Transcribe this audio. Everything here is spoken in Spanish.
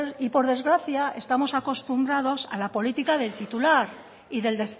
y por desgracia estamos acostumbrados a la política del titular y del